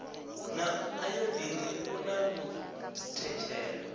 na ayodini u na muthetshelo